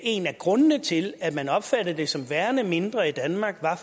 en af grundene til at man opfatter det som værende mindre i danmark er